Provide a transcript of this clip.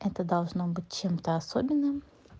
это должно быть чем-то особенным